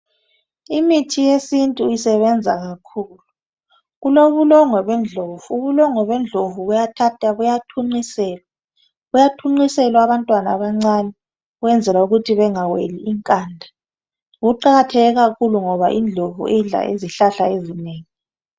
imithi yesintu isebenza kakhulu ,kubulongwe bendlovu ,ubulongwe bendlovu buyathathwa buyathunqisela abantwana abancane ukwenzela ukuthi bengaweli inkanda kuqakatheke kakhulu ngoba indlovu idla izihlahla ezinengi